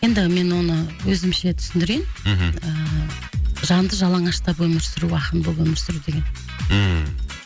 енді мен оны өзімше түсіндірейін мхм ыыы жанды жалаңаштап өмір сүру ақын болып өмір сүру деген ммм